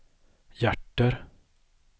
hjärter